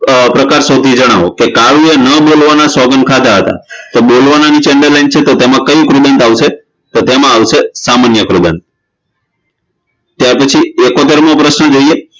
પ્રકાર શોધી જણાવો કાવ્યએ ન બોલવાના સોગંધ ખાધા હતા તો બોલવાના નીચે underline છે તો તેમા કયું કૃદંત આવશે તો તેમાં આવશે સામાન્ય કૃદંત ત્યારપછી એકોતેરમો પ્રશ્ન જોઈએ